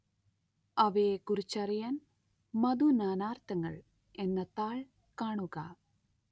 അവയെക്കുറിച്ചറിയാന്‍ മധു നാനാര്‍ത്ഥങ്ങള്‍ എന്ന താള്‍ കാണുക